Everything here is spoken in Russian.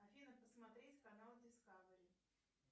афина посмотреть канал дискавери